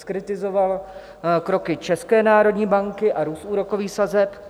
Zkritizoval kroky České národní banky a růst úrokových sazeb.